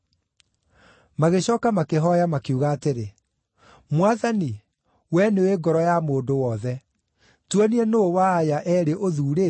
Magĩcooka makĩhooya makiuga atĩrĩ, “Mwathani, wee nĩũũĩ ngoro ya mũndũ wothe. Tuonie nũũ wa aya eerĩ ũthuurĩte